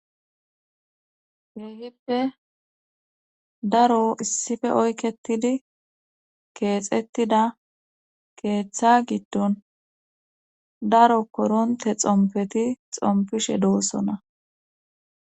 Heehippe daro issife oyketidi keexettida keeththa giddon daro koronte xompeti xompishe doossona.